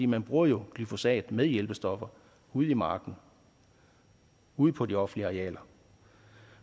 man bruger jo glyfosat med hjælpestoffer ude i marken ude på de offentlige arealer